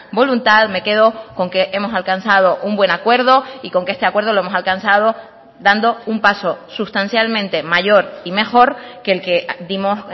voluntad me quedo con que hemos alcanzado un buen acuerdo y con que este acuerdo lo hemos alcanzado dando un paso sustancialmente mayor y mejor que el que dimos